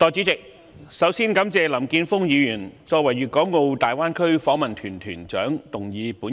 代理主席，首先，我感謝林健鋒議員作為粵港澳大灣區訪問團團長動議本議案。